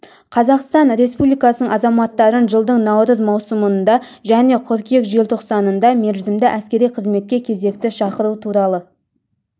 қазақстан республикасының азаматтарын жылдың наурыз маусымында және қыркүйек желтоқсанында мерзімді әскери қызметке кезекті шақыру туралы